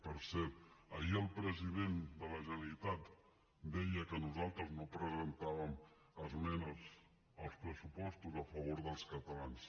per cert ahir el president de la generalitat deia que nosaltres no presentàvem esmenes als pressupostos a favor dels catalans